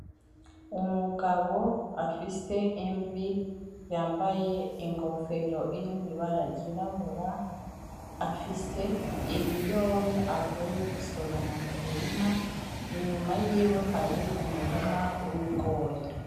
Umugabo afise imvi yambaye ingofero irimwo ibara ry'irabura afise ibiyobe avuye gusoroma mumurima ,Inyuma yiwe hari umurima w'ibigori